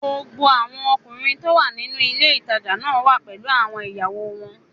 Gbogbo àwọn ọkùnrin tó wà nínú ilé ìtajà náà wà pẹ̀lú àwọn ìyàwó wọn